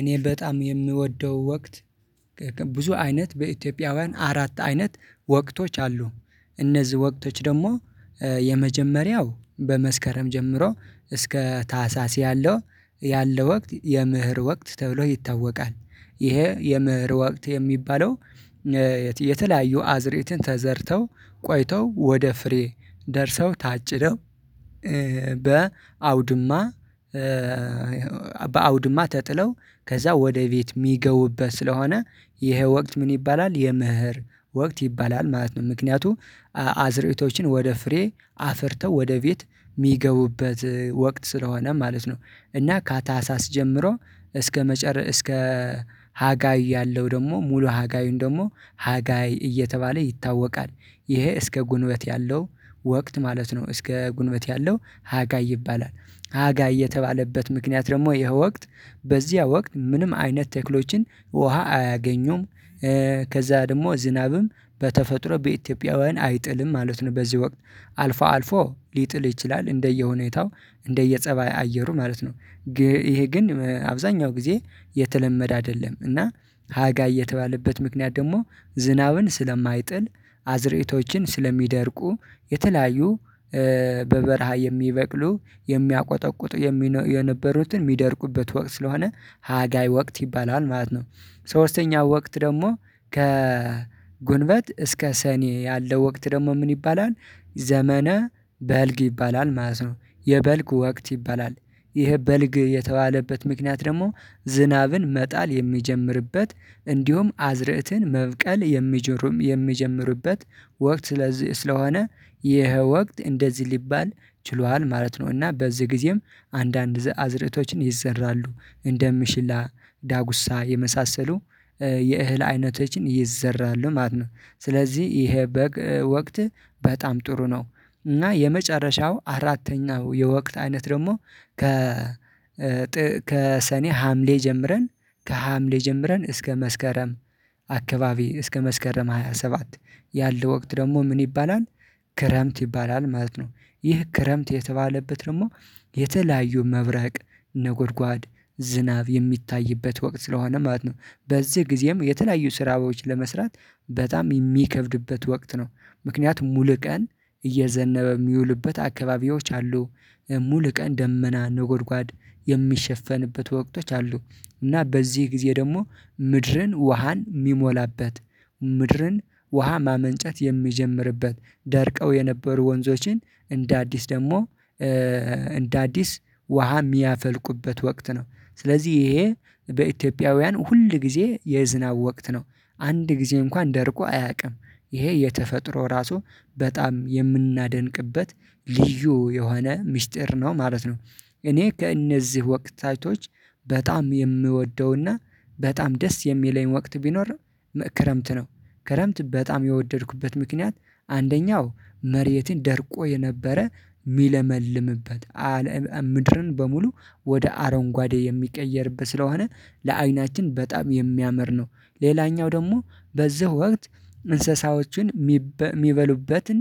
እኔ በጣም የምወደው ወቅት ብዙ አይነት በኢትዮጵያውያን አራት አይነት ወቅቶች አሉ። እነዚህ ወቅቶች ደግሞ የመጀመሪያው በመስከረም ጀምሮ እስከ ታህሳስ ያለው ወቅት የመኀር ወቅት ተብሎ ይታወቃል። ይሄ የመኅር ወቅት የሚባለው የተለያዩ አዝርዕትን ተዘርተው ቆይተው ወደ ፍሬ ደርሰው ታጭደው በአውድማ በአውድማ ተጥለው ከዛ ወደ ቤት የሚገቡበት ስለሆነ ይሄ ወቅት ምን ይባላል የመኅር ወቅት ይባላል ማለት ነው። ምክንያቱም አዝርዕቶችን ወደ ፍሬ አፍርተው ወደ ቤት የሚገቡበት ወቅት ስለሆነ ማለት ነው። እና ከታህሳስ ጀምሮ እስከ ሀጋይ ያለው ደግሞ ሙሉ ሀጋዮን ደግሞ ሀጋይ እየተባለ ይታወቃል። ይሄ እስከ ግንቦት ያለው ወቅት ማለት ነው እስከ ግንቦት ያለው ሀጋይ ይባላል ሀጋይ የተባለበት ምክንያት ደግሞ ይሄ ወቅት በዚያ ወቅት ምንም አይነት ተክሎችን ውሃ አያገኙም። ከዛ ደግሞ ዝናብም በተፈጥሮ በኢትዮጵያውያን አይጥልም ማለት ነው በዚህ ወቅት። አልፎ አልፎ ሊጥል ይችላል እንደየሁኔታው እንደየጸባይ አየሩ ማለት ነው። ግን ይሄ ግን አብዛኛው ጊዜ የተለመደ አይደለም። እና ሀጋይ እየተባለበት ምክንያት ደግሞ ዝናብም ስለማይጥል አዝርዕቶችም ስለሚደርቁ የተለያዩ በበረሃ የሚበቅሉ የሚያቆጠቁጡ የነበሩትን የሚደርቁበት ወቅት ስለሆነ ሀጋይ ወቅት ይባላል ማለት ነው። ሶስተኛው ወቅት ደግሞ ከግንቦት እስከ ሰኔ ያለው ወቅት ደግሞ ምን ይባላል ዘመነ- በልግ ይባላል ማለት ነው። የበልግ ወቅት ይባላል። ይሄ በልግ የተባለበት ምክንያት ደግሞ ዝናብን መጣል የሚጀምርበት እንዲሁም አዝርእትን መብቀል የሚጀምርበት ወቅት ስለዚህ ስለሆነ ይሄ ወቅት እንደዚህ ሊባል ችሏል ማለት ነውና። በዚህ ጊዜም አንዳንድ አዝርእቶችም ይዘራሉ እንደምሽላ ዳጉሳ የመሳሰሉ የእህል አይነቶችን ይዘራሉ ማለት ነው ስለዚህ ይሄ በልግ ወቅት በጣም ጥሩ ነው እና የመጨረሻው አራተኛው የወቅት አይነት ደግሞ ከ ከሰኔ ሀምሌ ጀምረን ከሀምሌ ጀምረን እስከ መስከረም አካባቢ እስከ መስከረም ሃያ ሰባት ያለው ወቅት ደግሞ ምን ይባላል ክረምት ይባላል ማለት ነው። ይህ ክረምት የተባለበት ደግሞ የተለያዩ መብረቅ ነጎርጓድ ዝናብ የሚታይበት ወቅት ስለሆነ ማለት ነው። በዚህ ጊዜም የተለያዩ ስራዎች ለመስራት በጣም የሚከብድበት ወቅት ነው። ምክንያቱም ሙሉ ቀን እየዘነበ የሚውልበት አካባቢዎች አሉ። ሙሉ ቀን ደመና ነጎድጓድ የሚሸፈንበት ወቅቶች አሉ። እና በዚህ ጊዜ ደግሞ ምድርን ውሃን የሚሞላበት፣ ምድርን ውሃ ማመንጨት የሚጀምርበት፣ ደርቀው የነበሩ ወንዞችን እንደ አዲስ ደግሞ እንደ አዲስ ውሃ የሚያፈልቁበት ወቅት ነው። ስለዚህ ይሄ በኢትዮጵያውያን ሁል ጊዜ የዝናብ ወቅት ነው። አንድ ጊዜ እንኳን ደርቆ አያውቅም። ይሄ የተፈጥሮ ራሱ በጣም የምናደንቅበት ልዩ የሆነ ሚስጥር ነው ማለት ነው። እኔ ከእነዚህ ወቅታቶች በጣም የምወደውና በጣም ደስ የሚለኝ ወቅት ቢኖር ክረምት ነው። ክረምት በጣም የወደድኩበት ምክንያት አንደኛው መሬትን ደርቆ የነበረ ሚለመልምበት ምድርን በሙሉ ወደ አረንጓዴ የሚቀየርበት ስለሆነ ለአይናችን በጣም የሚያምር ነው። ሌላኛው ደግሞ በዚህ ወቅት እንስሳዎችን የሚበሉበትን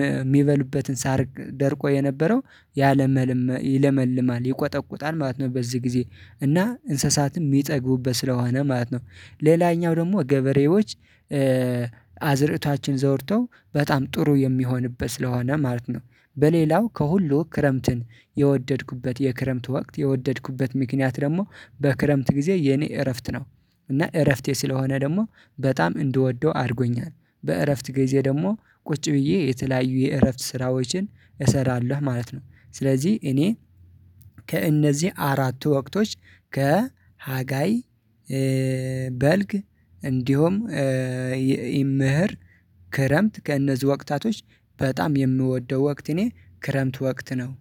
የሚበሉበትን ሳር ደርቆ የነበረው ይለመልማል፣ ይቆጠቁጣል ማለት ነው በዚህ ጊዜ እና እንስሳትም የሚጠግቡበት ስለሆነ ማለት ነው። ሌላኛው ደግሞ ገበሬዎች አዝዕርታቸውን ደግሞ ዘርተው በጣም ጥሩ የሚሆንበት ስለሆነ ማለት ነው። በሌላው ከሁሉ ክረምትን የወደድኩበት የክረምት ወቅት የወደድኩበት ምክንያት ደግሞ በክረምት ጊዜ የኔ እረፍት ነው። እና እረፍቴ ስለሆነ ደግሞ በጣም እንድወደው አድርጎኛል። በእረፍት ጊዜ ደግሞ ቁጭ ብዬ የተለያዩ የእረፍት ስራዎችን እሰራለሁ ማለት ነው። ስለዚህ እኔ ከእነዚህ አራቱ ወቅቶች ከሀጋይ በልግ እንዲሁም መኸር፣ ክረምት፣ ከእነዚህ ወቅታቶች በጣም የምወደው ወቅት እኔ ክረምት ወቅት ነው